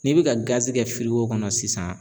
N'i bɛ ka kɛ kɔnɔ sisan.